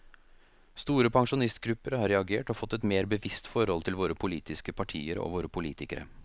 Store pensjonistgrupper har reagert og fått et mer bevisst forhold til våre politiske partier og våre politikere.